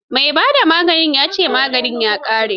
Mai ba da maganin ya ce maganin ya ƙare.